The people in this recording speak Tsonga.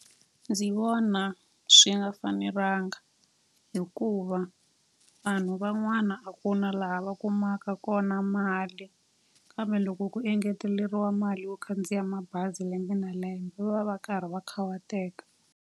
Ndzi vona swi nga fanelanga hikuva vanhu van'wana a ku na laha va kumaka kona mali. Kambe loko ku engeteleriwa mali yo khandziya mabazi lembe na lembe, va va karhi va khawateka.